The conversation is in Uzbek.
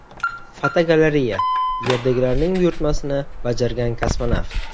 Fotogalereya: Yerdagilarning buyurtmasini bajargan kosmonavt.